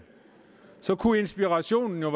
så kunne inspirationen jo